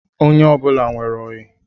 Onye ọbụla nwere oyi